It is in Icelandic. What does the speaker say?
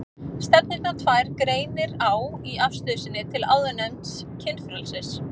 Stefnurnar tvær greinir á í afstöðu sinni til áðurnefnds kynfrelsis.